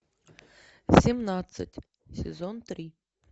семнадцать сезон три